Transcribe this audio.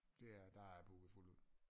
Det er der er booket fuldt ud